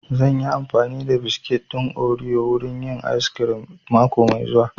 Zan yi amfani da biskit ɗin oriyo wurin yin ayis kirim mako mai zuwa